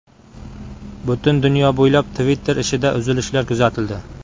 Butun dunyo bo‘ylab Twitter ishida uzilishlar kuzatildi.